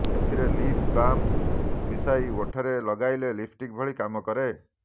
ସେଥିରେ lip balm ମିଶାଇ ଓଠରେ ଲଗାଇଲେ ଲିପଷ୍ଟିକ୍ ଭଳି କାମ କରେ